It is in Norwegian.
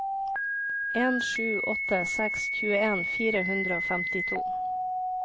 en sju åtte seks tjueen fire hundre og femtito